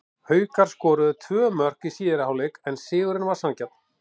Haukar skoruðu tvö mörk í síðari hálfleik en sigurinn var sanngjarn.